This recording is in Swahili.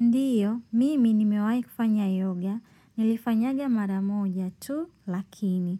Ndiyo, mimi nimewahi kufanya yoga, nilifanyaga mara moja tu lakini